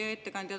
Hea ettekandja!